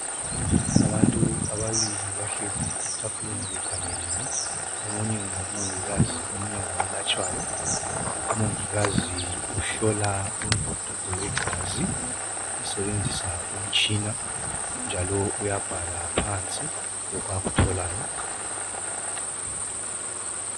Abantu ababili bahlezi etafuleni bekhangelene, omunye ngomongikazi omunye ngowelatshaywa. Umongikazi uhlola umvuduko wegazi usebenzisa umtshina njalo uyabhala phansi lokhu akutholayo.